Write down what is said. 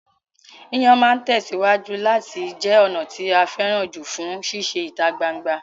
Yíyàn máa tẹ̀síwájú láti jẹ ọ̀nà tí a fẹ́ràn jù fún sísè ìta gbangba